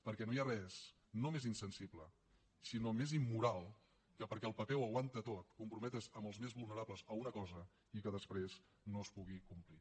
perquè no hi ha res no més insensible sinó més immoral que perquè el paper ho aguanta tot comprometre’s amb els més vulnerables a una cosa i que després no es pugui complir